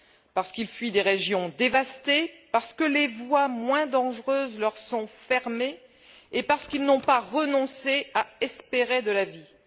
Parce qu'ils fuient des régions dévastées, parce que les voies moins dangereuses leur sont fermées et parce qu'ils n'ont pas renoncé à espérer de la vie.